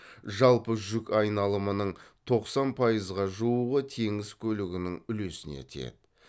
жалпы жүк айналымының тоқсан пайызға жуығы теңіз көлігінің үлесіне тиеді